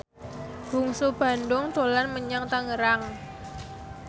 Bungsu Bandung dolan menyang Tangerang